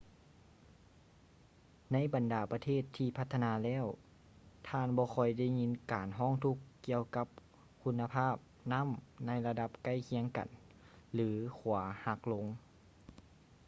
ໃນບັນດາປະເທດທີ່ພັດທະນາແລ້ວ ທ່ານບໍ່ຄ່ອຍໄດ້ຍິນການຮ້ອງທຸກ ກ່ຽວກັບຄຸນນະພາບນໍ້າໃນລະດັບໃກ້ຄຽງກັນ ຫຼື ຂົວຫັກລົງ